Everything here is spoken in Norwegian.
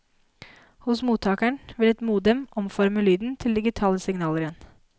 Hos mottakeren vil et modem omforme lyden til digitale signaler igjen.